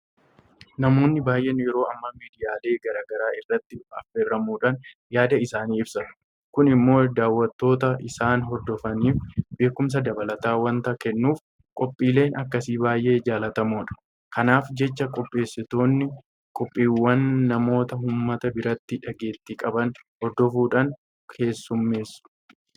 Namoonni baay'een yeroo ammaa miidiyaalee garaa garaa irratti affeeramuudhaan yaada isaanii ibsatu. Kun immoo daawwattoota isaan hordofaniif beekumsa dabalataa waanta kennuuf qophiileen akkasii baay'ee jaalatamoodha. Kanaaf jecha qopheessitoonni qophiiwwanii namoota uummata biratti dhageettii qaban hordofuudhaan keessummeessu.